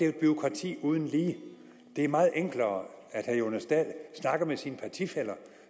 et bureaukrati uden lige det er meget enklere at herre jonas dahl snakker med sine partifæller